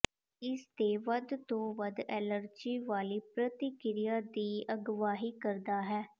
ਇਸ ਦੇ ਵੱਧ ਤੋਂ ਵੱਧ ਐਲਰਜੀ ਵਾਲੀ ਪ੍ਰਤੀਕ੍ਰਿਆ ਦੀ ਅਗਵਾਈ ਕਰਦਾ ਹੈ